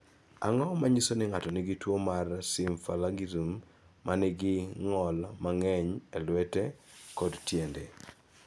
Ang�o ma nyiso ni ng�ato nigi tuo mar Symphalangism ma nigi ng'ol mang�eny e lwete kod tiende?